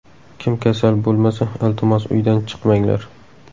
Kim kasal bo‘lmasa, iltimos uydan chiqmanglar.